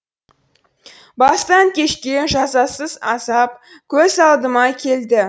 бастан кешкен жазасыз азап көз алдыма келді